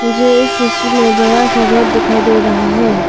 मुझे इस तस्वीर में बड़ा सा रोड दिखाई दे रहा है।